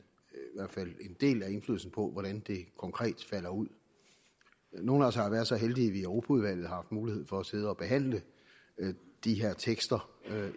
del af indflydelsen på hvordan det konkret falder ud nogle af os har været så heldige at vi i europaudvalget har haft mulighed for at sidde og behandle de her tekster